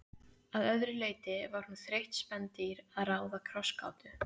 Að öðru leyti var hún þreytt spendýr að ráða krossgátu.